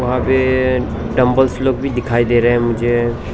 वहां पे dumbbells look भी दिखाई दे रहे हैं मुझे।